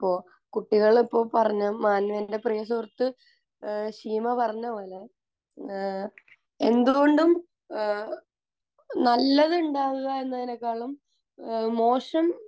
ഇപ്പോൾ കുട്ടികൾ ഇപ്പോൾ പറഞ്ഞ എന്റെ പ്രിയ സുഹൃത്ത് ഏഹ് ഷീമ പറഞ്ഞത് പോലെ ഏഹ് എന്ത്കൊണ്ടും ഏഹ് നല്ലത് ഉണ്ടാവുക എന്നതിനെക്കാളും ഏഹ് മോശം